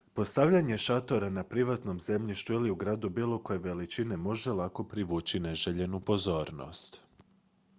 postavljanje šatora na privatnom zemljištu ili u gradu bilo koje veličine može lako privući neželjenu pozornost